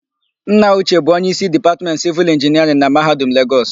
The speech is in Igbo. Nna Uche bụ onyeísí Dipatmentị Sịvịl Inginiarịn na Mahadum Legọs.